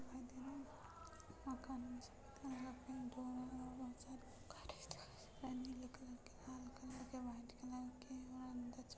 -- दिखाई दे रहा है नीले कलर के लाल कलर के वाइट कलर के और अंदर जा --